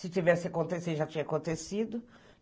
Se tivesse acontecido, já tinha acontecido.